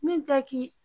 Min tɛ k'i